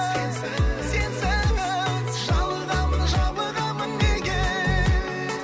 сенсіз сенсіз жалығамын жабығамын неге